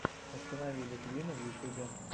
установи литвина в ютюбе